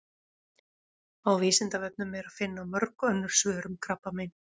Á Vísindavefnum er að finna mörg önnur svör um krabbamein.